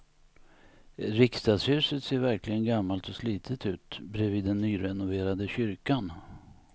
Riksdagshuset ser verkligen gammalt och slitet ut bredvid den nyrenoverade kyrkan.